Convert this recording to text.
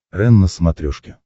рен на смотрешке